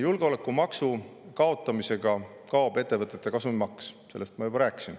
Julgeolekumaksu kaotamisega kaob ettevõtete kasumimaks, sellest ma juba rääkisin.